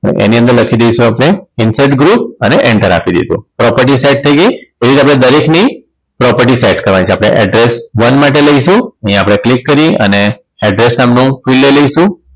એની અંદર લખી દઈશું આપણે insert group અને enter આપી દઈશું property set થઈ ગઈ એવી રીતે આપણે દરેકની property set કરવાની છે આપણે address one માટે લઈશું અહીંયા આપણે click કરી અને address નામનું fill લઈ લઈશું